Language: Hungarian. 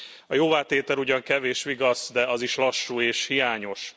A jóvátétel ugyan kevés vigasz, de az is lassú és hiányos.